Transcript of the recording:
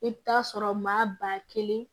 I bɛ taa sɔrɔ maa ba kelen